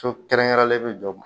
So kɛrɛnkɛrɛnen bɛ jɔ